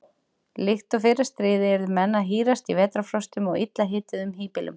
Líkt og í fyrra stríði yrðu menn að hírast í vetrarfrostum í illa hituðum híbýlum.